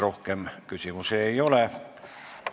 Rohkem küsimusi ei ole.